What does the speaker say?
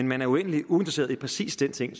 man uendelig uinteresseret i præcis den ting